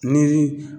Ni